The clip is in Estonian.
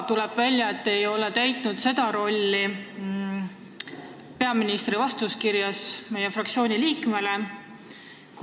Tuleb ka välja, et te ei ole täitnud oma rolli peaministri vastuskirjas ühele meie fraktsiooni liikmele.